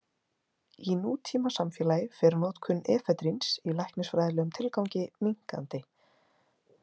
Í nútímasamfélagi fer notkun efedríns í læknisfræðilegum tilgangi minnkandi.